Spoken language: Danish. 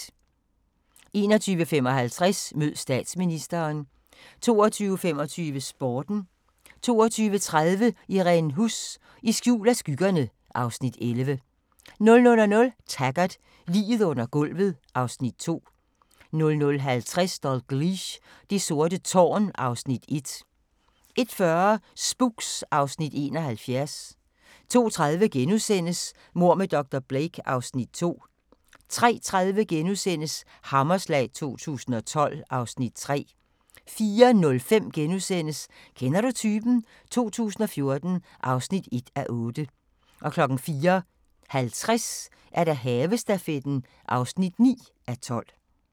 21:55: Mød Statsministeren 22:25: Sporten 22:30: Irene Huss: I skjul af skyggerne (Afs. 11) 00:00: Taggart: Liget under gulvet (Afs. 2) 00:50: Dalgliesh: Det sorte tårn (Afs. 1) 01:40: Spooks (Afs. 71) 02:30: Mord med dr. Blake (Afs. 2)* 03:30: Hammerslag 2012 (Afs. 3)* 04:05: Kender du typen? 2014 (1:8)* 04:50: Havestafetten (9:12)